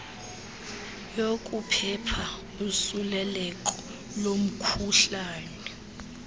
yokuphepha usuleleko lomkhuhlane